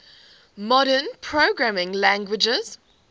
modern programming languages